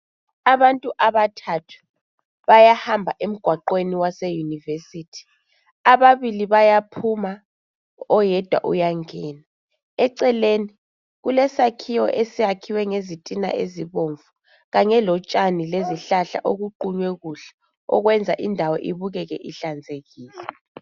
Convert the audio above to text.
Abantu abathathu bayahamba emgwagweni waseyunivesithi. Ababili bayaphuma oyedwa uyangena. Eceleni kulesakhiwo esiyakhiwe ngezitina ezibomvu kanye lotshani lezihlahla okuqunywe kuhle okwenze indawo ibukeke ihlanzekile.